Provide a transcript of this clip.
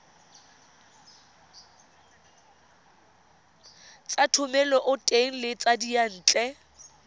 tsa thomeloteng le tsa diyantle